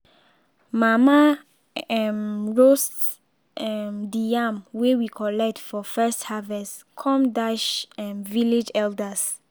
mama um roast um de yam wey we collect for first harvest com dash um village elders